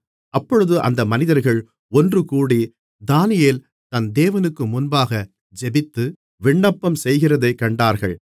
அப்பொழுது அந்த மனிதர்கள் ஒன்றுகூடி தானியேல் தன் தேவனுக்கு முன்பாக ஜெபித்து விண்ணப்பம் செய்கிறதைக் கண்டார்கள்